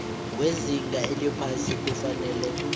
wezinga eliphasi kufanele